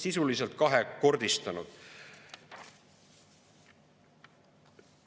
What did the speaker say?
Sisuliselt on seda kahekordistatud.